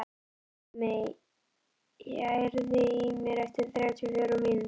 Hjálmey, heyrðu í mér eftir þrjátíu og fjórar mínútur.